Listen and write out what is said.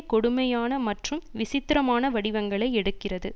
கொடுமையான மற்றும் விசித்திரமான வடிவங்களை எடுக்கிறது